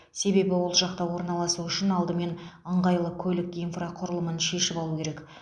себебі ол жақта орналасу үшін алдымен ыңғайлы көлік инфрақұрылымын шешіп алу керек